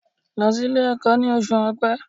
Lọ sílé ẹ̀kọ́ ní oṣù Ọ̀pẹ